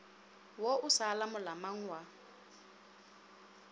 wo o sa lolamang wa